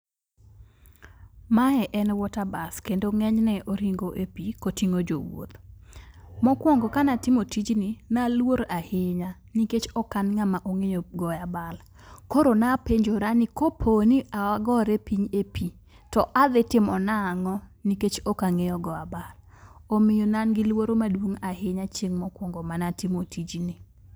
Mae en water bus kendo ng'enyne oringo epi koting'o jowuoth. Mokuongo kane atimo tijni, ne aluor ahinya nikech ok an ng'ama ok ong'eyo goyo abal. Koro napenjora nikopo ni agora piny epi, to adhi timo nang'o nikech ok ang'eyo goyo abal. Omiyo ne an giluoro maduong' ahinya chieng' mokuongo mane atimo tijni.